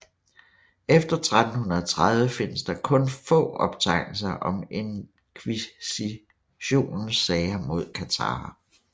Efter 1330 findes der kun få optegnelser om Inkvisitionens sager mod katharer